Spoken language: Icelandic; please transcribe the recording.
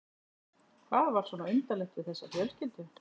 Hvað var svona undarlegt við þessa fjölskyldu?